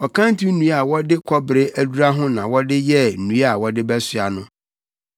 Ɔkanto nnua a wɔde kɔbere adura ho na wɔde yɛɛ nnua a wɔde bɛsoa no.